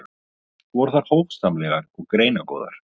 Voru þær hófsamlegar og greinagóðar.